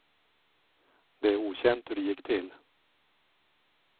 Det är okänt hur det gick till.